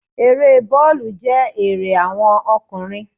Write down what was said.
Eré bóòlù jẹ́ ère àwon okùnrin